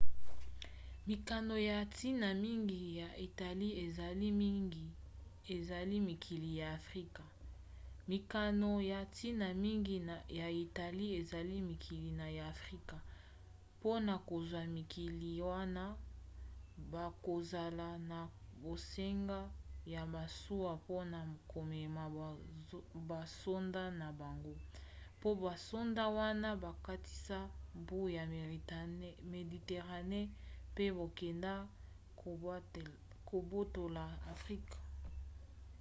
mikano ya ntina mingi ya italie ezali mikili ya afrika. mpona kozwa mikili wana bakozala na bosenga ya masuwa mpona komema basoda na bango mpo basoda wana bakatisa mbu ya méditerranée mpe bakende kobotola afrika